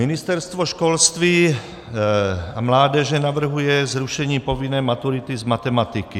Ministerstvo školství a mládeže navrhuje zrušení povinné maturity z matematiky.